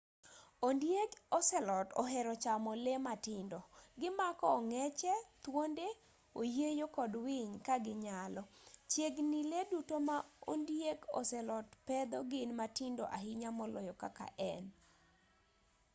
ondieg ocelot ohero chamo lee matindo gimako ong'eche thuonde oyieyo kod winy ka ginyalo chiegni lee duto ma ondieg ocelot pedho gin matindo ahinya moloyo kaka en